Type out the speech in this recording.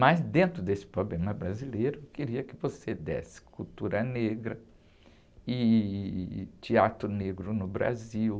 Mas dentro desse problema brasileiro, eu queria que você desse cultura negra e teatro negro no Brasil.